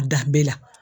Danbe la